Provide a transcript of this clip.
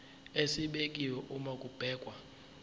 esibekiwe uma kubhekwa